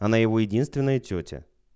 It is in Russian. она его единственная тётя